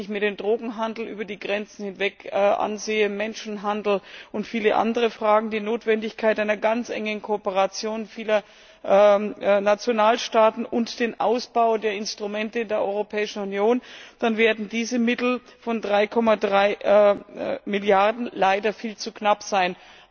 Wenn ich mir den Drogenhandel über die Grenzen hinweg ansehe, Menschenhandel und viele andere Fragen, die Notwendigkeit einer ganz engen Kooperation vieler Nationalstaaten und den Ausbau der Instrumente der Europäischen Union, dann werden diese Mittel von 3,3Milliarden Euro leider viel zu knapp sein.